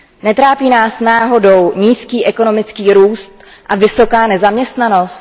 Netrápí nás náhodou nízký ekonomický růst a vysoká nezaměstnanost?